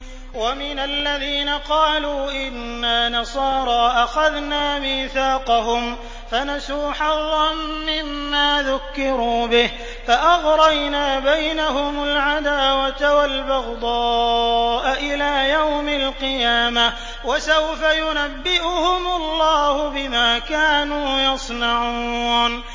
وَمِنَ الَّذِينَ قَالُوا إِنَّا نَصَارَىٰ أَخَذْنَا مِيثَاقَهُمْ فَنَسُوا حَظًّا مِّمَّا ذُكِّرُوا بِهِ فَأَغْرَيْنَا بَيْنَهُمُ الْعَدَاوَةَ وَالْبَغْضَاءَ إِلَىٰ يَوْمِ الْقِيَامَةِ ۚ وَسَوْفَ يُنَبِّئُهُمُ اللَّهُ بِمَا كَانُوا يَصْنَعُونَ